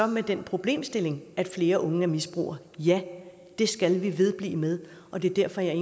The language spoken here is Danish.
med den problemstilling at flere unge er misbrugere ja det skal vi vedblive med og det er derfor jeg i